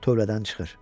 Tövlədən çıxır.